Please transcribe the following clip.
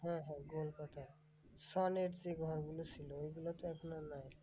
হ্যাঁ হ্যাঁ গোলপাতার সনের যে ঘরগুলো ছিল ঐগুলো তো এখন আর নাই?